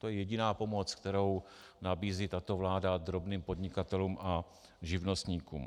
To je jediná pomoc, kterou nabízí tato vláda drobným podnikatelům a živnostníkům.